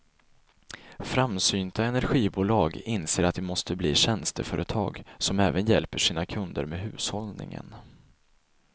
Framsynta energibolag inser att de måste bli tjänsteföretag som även hjälper sina kunder med hushållning.